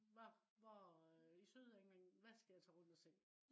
hva hvor øh i sydengland. Hvad skal jeg tage rundt og se?